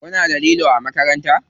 Kuna da lilo a makaranta?